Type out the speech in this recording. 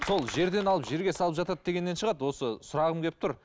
сол жерден алып жерге салып жатады дегеннен шығады осы сұрағым келіп тұр